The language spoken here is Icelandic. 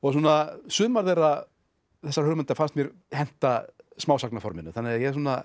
sumar þessara þessara hugmynda fannst mér henta smásagnaforminu þannig að ég